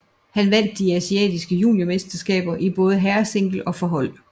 Han vandt de asiatiske juniormesterskaber i både herresingle og for hold